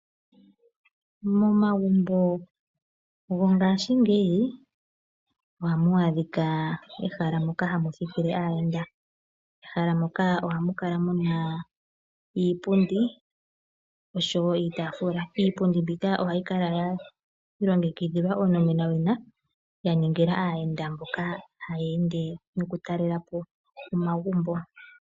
Momagumbo gongashiingeyi ohamu adhika ehala moka hamu thikile aayenda, ehala moka ohamu kala muna iipundi oshowo itaafula, iipundi mbika ohayi kala ya longekidhilwa onomenowina ya ningila aayenda mboka haya ende noku talela po omagumbo.